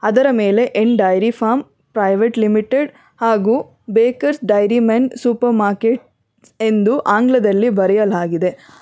ಇದರ ಮೇಲೆ ಏನ್ ಡೈರಿ ಫಾರ್ಮ್ ಪ್ರೈವೇಟ್ ಲಿಮಿಟೆಡ್ ಹಾಗು bakers dairy men super market ಎಂದು ಆಂಗ್ಲದಲ್ಲಿ ಬರೆಯಲಾಗಿದೆ.